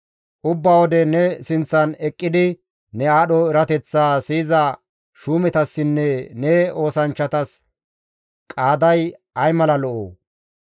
Ubba wode ne sinththan eqqidi ne aadho erateththaa siyiza shuumetassinne ne oosanchchatas qaaday ay mala lo7oo!